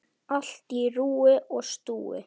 Allt á rúi og stúi.